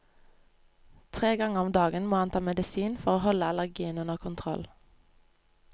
Tre ganger om dagen må han ta medisin for å holde allergien under kontroll.